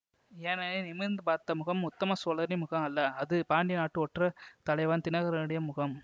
ஏனெனில் நிமிர்ந்து பார்த்த முகம் உத்தம சோழரின் முகம் அல்ல அது பாண்டிய நாட்டு ஒற்ற தலைவன் தினகரனுடைய முகம்